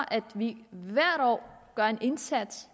at vi hvert år gør en indsats